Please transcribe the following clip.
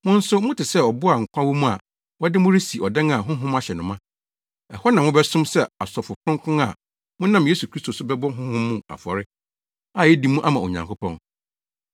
Mo nso mote sɛ abo a nkwa wɔ mu a wɔde mo resi ɔdan a honhom ahyɛ no ma. Ɛhɔ na mobɛsom sɛ asɔfo Kronkron a monam Yesu Kristo so bɛbɔ honhom mu afɔre a edi mu ama Onyankopɔn.